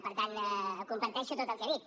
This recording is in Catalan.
per tant comparteixo tot el que ha dit